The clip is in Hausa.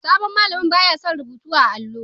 Sabon malamin ba ya son rubutu a'allo.